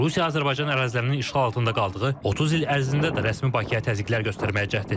Rusiya Azərbaycan ərazilərinin işğal altında qaldığı 30 il ərzində də rəsmi Bakıya təzyiqlər göstərməyə cəhd edirdi.